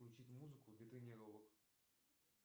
включить музыку для тренировок